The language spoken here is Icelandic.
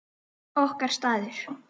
Okkar staður.